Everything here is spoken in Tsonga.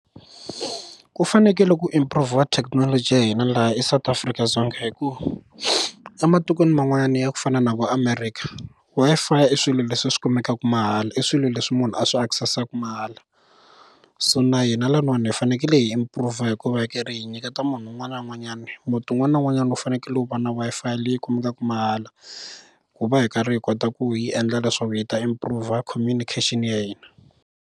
Ku fanekele ku improv-iwa thekinoloji ya hina laha eSouth Afrika-Dzonga hikuva ematikweni man'wanyana ya ku fana na vo America Wi-Fi swilo leswi swi kumekaka mahala i swilo leswi munhu a swi access-aku mahala so na hina lanuwana hi fanekele hi improve hikuva hi karhi hi nyiketa munhu un'wana na un'wanyana muti wun'wana na wun'wanyana u fanekele wu va na Wi-Fi leyi kumekaka mahala ku va hi karhi hi kota ku hi endla leswaku hi ta improve communication ya hina.